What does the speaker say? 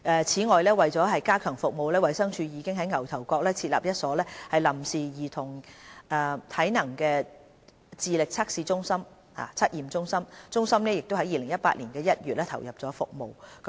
此外，為了加強服務，衞生署已在牛頭角設立一所臨時兒童體能智力測驗中心，中心已於2018年1月投入服務。